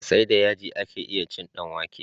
Sai da yaji ake iya cin dan wake